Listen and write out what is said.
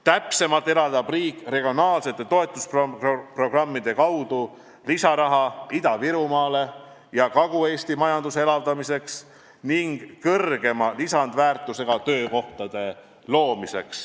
Täpsemalt eraldab riik regionaalsete toetusprogrammide kaudu lisaraha Ida-Virumaa ja Kagu-Eesti majanduse elavdamiseks ning suurema lisandväärtusega töökohtade loomiseks.